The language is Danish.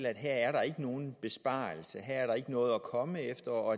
at her er der ikke nogen besparelse her er der ikke noget at komme efter og